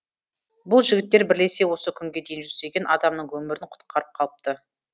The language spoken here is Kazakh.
бұл жігіттер бірлесе осы күнге дейін жүздеген адамның өмірін құтқарып қалыпты